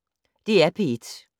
DR P1